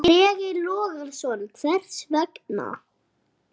Breki Logason: Hvers vegna?